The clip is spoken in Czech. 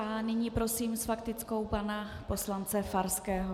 A nyní prosím s faktickou pana poslance Farského.